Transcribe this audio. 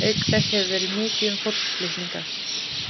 Auk þess hefur verið mikið um fólksflutninga.